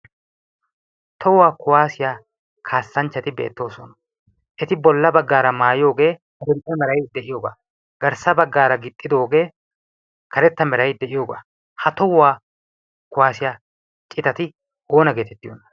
Tohuwa kuwaasiya kaassanchchati beettoosona. Eti bolla baggaara maayoogee adil"e meray de'iyogaa, garssa baggaara gixxidoogee karetta meray de'iyogaa. Ha tohuwa kuwaasiya citati oona getettiyonaa?